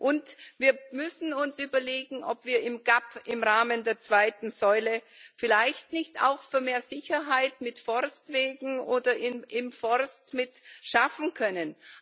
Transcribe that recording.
Und wir müssen uns überlegen, ob wir in der GAP im Rahmen der zweiten Säule vielleicht nicht auch für mehr Sicherheit auf Forstwegen oder im Forst schaffen können.